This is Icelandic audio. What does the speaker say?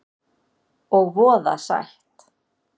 Og voða sætt.